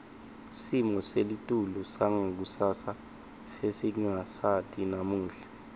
simo selitulu sangakusasa sesingasati namuhla